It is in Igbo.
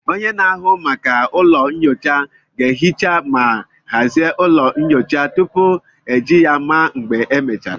Onye na-ahụ maka ụlọ nyocha ga-ehicha ma hazie ụlọ nyocha tupu eji ya ma mgbe e mechara